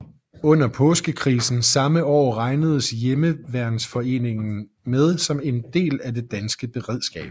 Under Påskekrisen samme år regnedes hjemmeværnsforeningerne med som en del af det danske beredskab